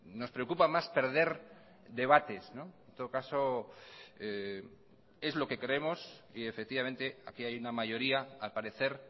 nos preocupa más perder debates en todo caso es lo que creemos y efectivamente aquí hay una mayoría al parecer